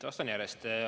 Vastan järjest.